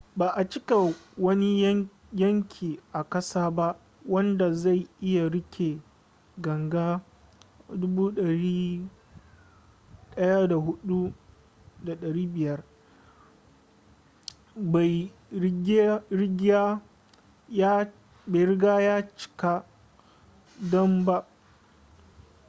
ba a cika wani yanki a kasa ba wadda zai iya rike ganga 104,500 bai rigya ya cika dam ba